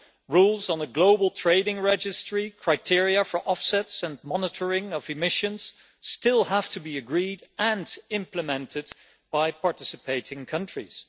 Rules on the global trading registry, criteria for offsets and monitoring of emissions still have to be agreed and implemented by participating countries.